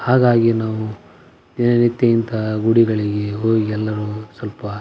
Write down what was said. ಹಾಗಾಗಿ ನಾವು ದಿನನಿತ್ಯ ಇಂತಹ ಗುಡಿಗಳಿಗೆ ಹೋಗಿ ಎಲ್ಲರು ಸ್ವಲ್ಪ --